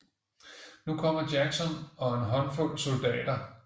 Nu kommer Jackson og en håndfuld soldater